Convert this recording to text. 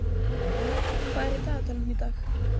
Hjörný, hvað er í dagatalinu í dag?